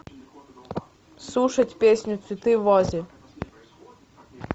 слушать песню цветы в вазе